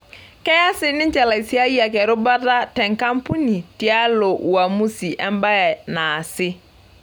Keya sininche laisiayiak erubata tenkampuni tialo uamusi embae naasi.